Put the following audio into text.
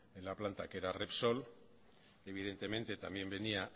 en la planta que era repsol evidentemente también venía